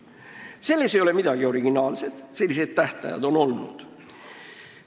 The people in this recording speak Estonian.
Ja selles ettepanekus ei ole midagi originaalset, sellised tähtajad on ka varem olnud.